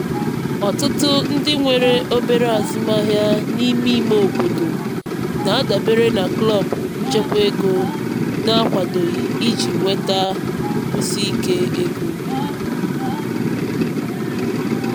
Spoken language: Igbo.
ọtụtụ ndị nwe obere azụmaahịa n'me ime obodo na-adabere na klọb nchekwa ego na-akwadoghị iji nweta nkwụsi ike ego.